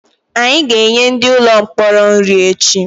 Anyị ga-enye ndị ụlọ mkpọrọ nri echi